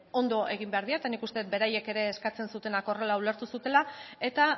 ondo egin behar dira eta nik uste dut beraiek ere eskatzen zutenak horrela ulertu zutela eta